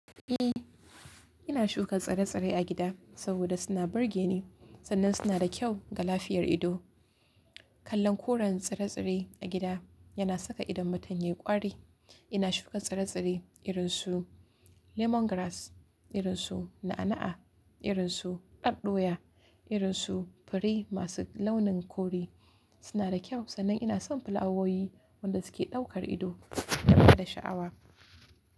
Eh, ina shuka tsire-tsire a gida saboda suna burge ni sannan suna da kyau ga lafiyar ido. Kallon koren tsire-tsire a gida yana saka idon mutum yayi ƙwari. Ina shuka tsire-tsire irin su lemon grass, irin su na'a-na'a, irin su aɗɗoya, irin su fure masu launin kore. Suna da kyau sannan ina son flawoyi wanda suke ɗaukar ido da bada sha'awa.